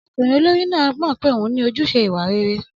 Ọmọkùnrin olórí náà mọ̀ pé òun ní ojúṣe ìwà rere.